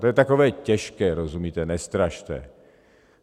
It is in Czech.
To je takové těžké, rozumíte - nestrašte.